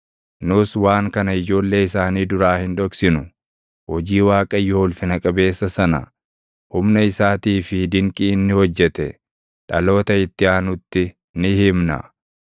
Nus waan kana ijoollee isaanii duraa hin dhoksinu; hojii Waaqayyoo ulfina qabeessa sana, humna isaatii fi dinqii inni hojjete, dhaloota itti aanutti ni himna.